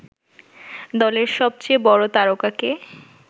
দলের সবচেয়ে বড় তারকাকে